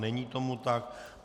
Není tomu tak.